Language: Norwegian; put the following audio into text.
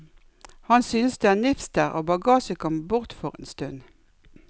Han synes det er nifst der, og bagasjen kommer bort for en stund.